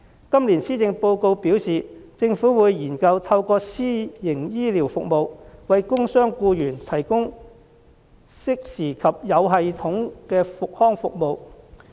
今年施政報告表示，政府會研究透過私營醫療服務，為工傷僱員提供適時及有系統的復康服務。